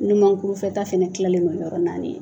ɲumankurufɛta fana kilalen don yɔrɔ naani ye.